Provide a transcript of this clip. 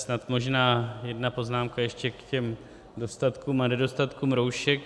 Snad možná jedna poznámka ještě k těm dostatkům a nedostatkům roušek.